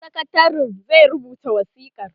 sakatarin zai rubuta wasikar